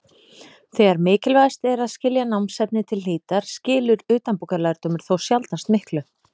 Þegar mikilvægast er að skilja námsefnið til hlítar skilar utanbókarlærdómur þó sjaldnast miklu.